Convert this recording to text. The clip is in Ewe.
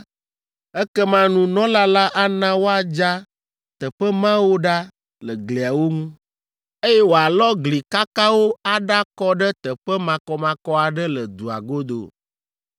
ekema nunɔla la ana woadza teƒe mawo ɖa le gliawo ŋu, eye woalɔ gli kakawo aɖakɔ ɖe teƒe makɔmakɔ aɖe le dua godo.